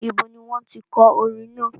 Ibo ni wọ́n tí kọ orin náà?